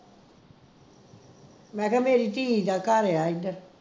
ਮੈਂ ਕਿਹਾ ਮੇਰੀ ਧੀ ਦਾ ਘਰ ਆ ਇਧਰ